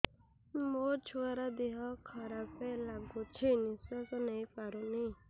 ମୋ ଛୁଆର ଦିହ ଖରାପ ଲାଗୁଚି ନିଃଶ୍ବାସ ନେଇ ପାରୁନି